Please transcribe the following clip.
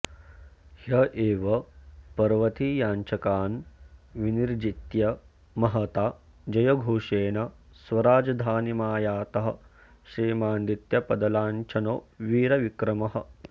ह्य एव पर्वतीयाञ्छकान् विनिर्जित्य महता जयघोषेण स्वराजधानीमायातः श्रीमानादित्यपदलाञ्छनो वीरविक्रमः